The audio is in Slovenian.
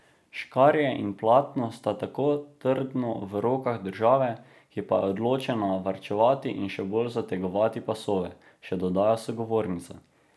Škarje in platno sta tako trdno v rokah države, ki pa je odločena varčevati in še bolj zategovati pasove, še dodaja sogovornica.